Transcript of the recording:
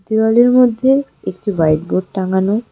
দেওয়ালের মধ্যে একটি হোয়াইট বোর্ড টাঙানো।